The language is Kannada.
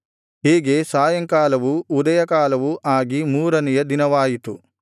ಹೀಗೆ ಸಾಯಂಕಾಲವೂ ಉದಯಕಾಲವೂ ಆಗಿ ಮೂರನೆಯ ದಿನವಾಯಿತು